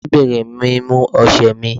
Arábìnrin mi mú ọ̀sẹ̀ mí.